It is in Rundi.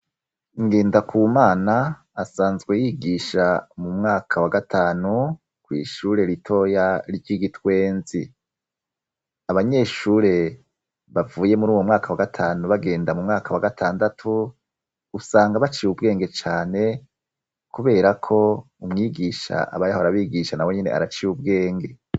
Ngendakumana asanzwe yigisha mu mwaka wa gatanu kw'ishure ritoya ry'i Gitwenzi. Abanyeshure bavuye muri uwo mwaka wa gatanu bagenda mu mwaka wa gatandatu, usanga baciye ubwenge cane kubera ko umwigisha aba yahora abigisha na wenyene araciye ubwenge.